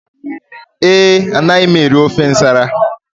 Ee, anaghị m eri ofe nsala